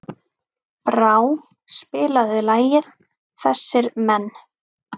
Brá, spilaðu lagið „Þessir Menn“.